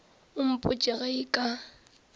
o mpotše ge e ka